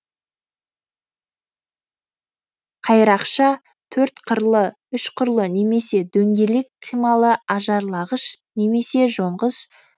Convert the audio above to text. қайрақша төрт қырлы үш қырлы немесе дөңгелек қималы ажарлағыш немесе жонғыш